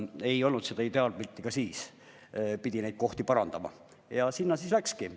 Ei olnud ideaalpilti ka siis, pidi neid kohti parandama, ja sinna siis raha läkski.